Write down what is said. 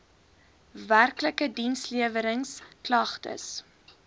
werklike diensleweringsk lagtes